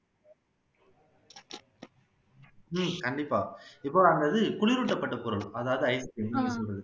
உம் கண்டிப்பா இப்போ அந்த இது குளிரூட்டப்பட்ட பொருள் அதாவது ice cream நீங்க சொல்றது